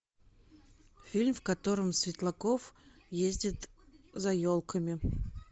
фильм в котором светлаков ездит за елками